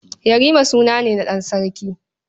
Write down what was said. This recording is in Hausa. Yarima suna ne na ɗan sarki.